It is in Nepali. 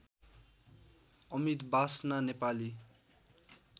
अमित वासना नेपाली